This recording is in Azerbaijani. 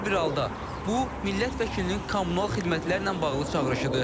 Hər bir halda, bu millət vəkilinin kommunal xidmətlərlə bağlı çağırışıdır.